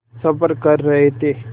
सफ़र कर रहे थे